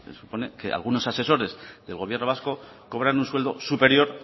supone que algunos asesores del gobierno vasco cobran un sueldo superior